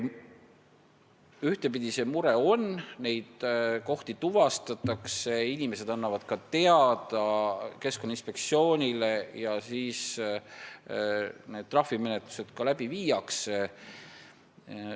Ühtepidi see mure on, neid kohti tuvastatakse, inimesed annavad nendest teada Keskkonnainspektsioonile ja viiakse läbi ka trahvimenetlusi.